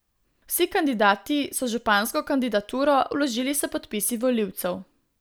Vsi kandidati so župansko kandidaturo vložili s podpisi volivcev.